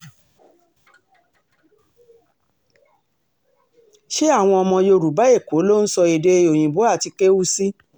ṣé àwọn ọmọ yorùbá èkó ló ń sọ èdè òyìnbó àti kéwu sí